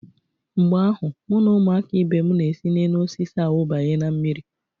Mgbe ahụ, mụ na ụmụaka ibe m na-esi n'enuosisi awụbanye na mmiri.